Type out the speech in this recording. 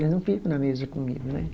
Eles não ficam na mesa comigo, né?